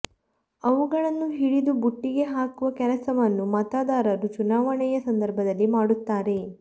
ಅವುಗಳನ್ನು ಹಿಡಿದು ಬುಟ್ಟಿಗೆ ಹಾಕುವ ಕೆಲಸವನ್ನು ಮತದಾರರು ಚುನಾವಣೆಯ ಸಂದರ್ಭದಲ್ಲಿ ಮಾಡುತ್ತಾರೆ